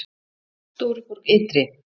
Stóruborg ytri